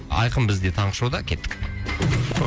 айқын бізде таңғы шоуда кеттік